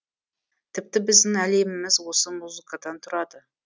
тіпті біздің әлеміміз осы музыкадан тұрады